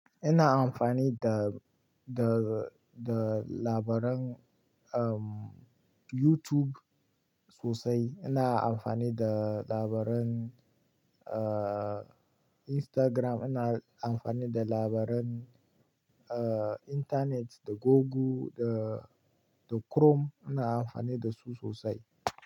Ina amfani da, da, da labaran, um, YouTube sosai. Ina amfani da labaran, uh, Instagram. Ina amfani da labaran, uh, Internet da Google da, da Chrome. Ina amfani da su sosai.